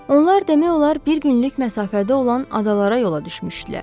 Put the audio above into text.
Onlar demək olar bir günlük məsafədə olan adalara yola düşmüşdülər.